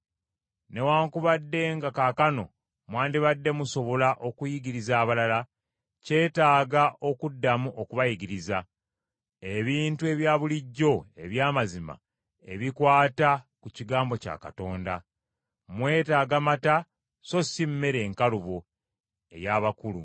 Newaakubadde nga kaakano mwandibadde musobola okuyigiriza abalala, kyetaaga okuddamu okubayigiriza, ebintu ebya bulijjo eby’amazima ebikwata ku kigambo kya Katonda. Mwetaaga mata so si mmere enkalubo ey’abakulu.